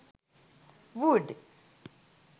wood